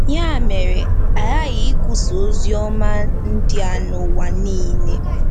Ya mere, a ghaghị ikwusa ozi ọma ndị a n'ụwa nile. ”